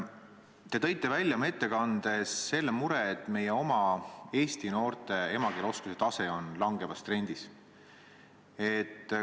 Te tõite oma ettekandes välja mure, et meie oma eesti noorte emakeeleoskuse tase on langevas trendis.